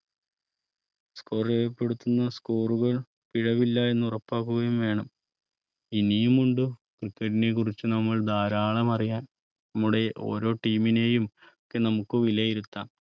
Score രേഖപ്പെടുത്തുന്ന രേഖകൾ പിഴവില്ല എന്ന് ഉറപ്പാക്കുകയും വേണം ഇനിയും ഉണ്ട്നെ cricket കുറിച്ച് നമ്മൾ ധാരാളം അറിയാൻ നമ്മുടെ ഓരോ Team നെയും നമുക്ക് വിലയിരുത്താം